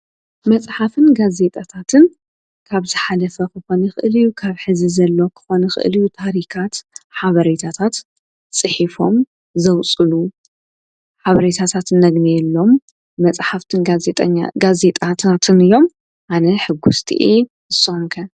መጽሓፍን ጋ ዘይጣታትን ካብዝ ሓለፈ ኽኾኒ ኽእልዩ ካብ ሕዚ ዘሎ ክኾነ ኽእልዩ ታሪካት ሓበሬታታት ጽሒፎም ዘውፅሉ ሓበሬታታትን ነግኔ የሎም መጽሕፍትን ኛጋዘይጣታትን እዮም ኣነ ሕጉስቲ የ ጾንከ።